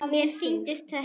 Mér sýndist þetta.